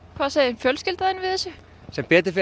hvað segir fjölskyldan sem betur fer